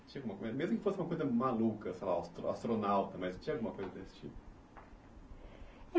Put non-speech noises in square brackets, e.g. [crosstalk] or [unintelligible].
[unintelligible] Mesmo que fosse uma coisa maluca, sei lá, astronauta, mas tinha alguma coisa desse tipo?